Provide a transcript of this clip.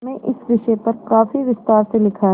में इस विषय पर काफी विस्तार से लिखा है